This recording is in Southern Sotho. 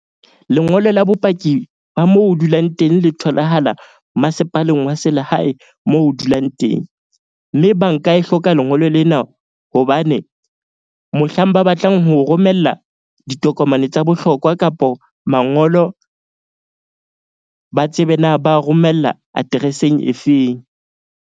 Lengolo la bopaki ba mo o dulang teng le tholahala masepaleng wa selehae moo o dulang teng. Mme bank-a e hloka lengolo lena hobane mohlang ba batlang ho romella ditokomane tsa bohlokwa kapo mangolo ba tsebe na ba romella address-eng efeng.